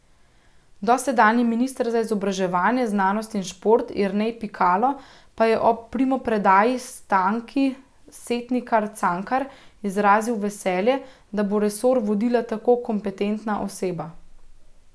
Dosedanji minister za izobraževanje, znanost in šport Jernej Pikalo pa je ob primopredaji Stanki Setnikar Cankar izrazil veselje, da bo resor vodila tako kompetentna oseba.